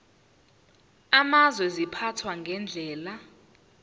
amazwe ziphathwa ngendlela